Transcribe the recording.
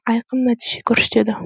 айқын нәтиже көрсетеді